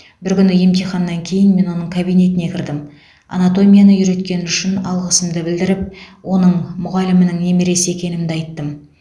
бір күні емтиханнан кейін мен оның кабинетіне кірдім анатомияны үйреткені үшін алғысымды білдіріп оның мұғалімінің немересі екенімді айттым